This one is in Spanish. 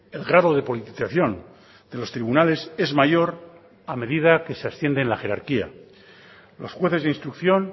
el grado de politización de los tribunales es mayor a medida que se asciende en la jerarquía los jueces de instrucción